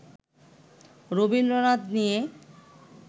রবীন্দ্রনাথ নিয়ে